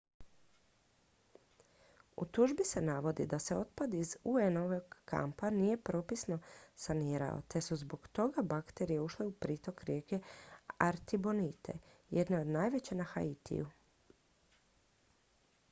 u tužbi se navodi da se otpad iz un-ovog kampa nije propisno sanirao te su zbog toga bakterije ušle u pritok rijeke artibonite jedne od najvećih na haitiju